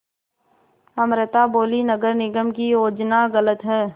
अमृता बोलीं नगर निगम की योजना गलत है